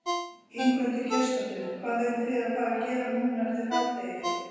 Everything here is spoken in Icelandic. Ingveldur Geirsdóttir: Hvað eruð þið að fara gera núna eftir hádegi?